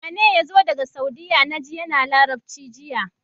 Wane yazo daka saudiya naji yAna labarci jiya